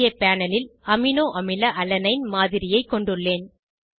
இங்கே பேனல் ல் அமினோஅமில அலனைன் மாதிரியைக் கொண்டுள்ளேன்